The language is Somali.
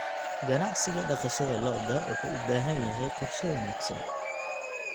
Ganacsiga dhaqashada lo'da lo'da wuxuu u baahan yahay qorshe wanaagsan.